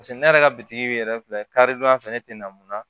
Paseke ne yɛrɛ ka bitigi yɛrɛ filɛ kari don ya fɛ ne tɛ na mun na